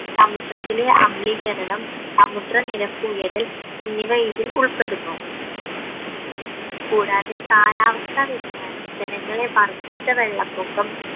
സമുദ്രത്തിലെ അമിളീകരണം സമുദ്രനിരപ്പ് ഉയരൽ എന്നിവ ഇതിൽ ഉൾപ്പെടുന്നു കൂടാതെ കാലാവസ്ഥ വ്യതിയാനം ജനങ്ങളെ വർധിച്ച വെള്ളപ്പൊക്കം